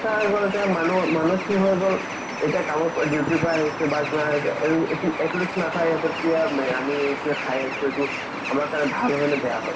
কথা মানুহ খিনি হয় গ'ল এতিয়া কাৰবা duty ৰ পৰা আহিছে আমি কিয় খাই আছো এইটো আমাৰ কাৰণে ভাল হয় নে বেয়া হয়